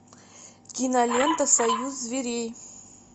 кинолента союз зверей